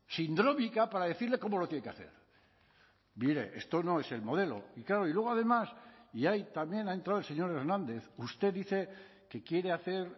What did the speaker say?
sindrómica para decirle cómo lo tiene que hacer mire esto no es el modelo y claro y luego además y ahí también ha entrado el señor hernández usted dice que quiere hacer